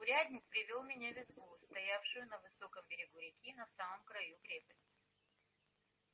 урядник привёл меня в избу стоявшую на высоком берегу реки на самом краю крепости